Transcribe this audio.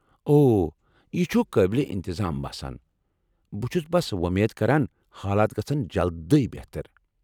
اوہ، یہ چُھ قٲبل انتظام باسان ۔ بہٕ چُھس بس وۄمید کران حالات گژھن جلدی بہتر ۔